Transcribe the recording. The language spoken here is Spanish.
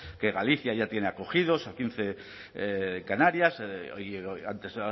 que galicia ya tiene acogidos a quince canarias antes